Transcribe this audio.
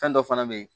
Fɛn dɔ fana bɛ yen